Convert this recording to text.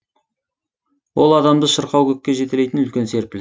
ол адамды шырқау көкке жетелейтін үлкен серпіліс